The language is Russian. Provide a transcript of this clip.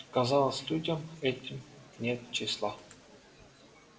казалось людям этим нет числа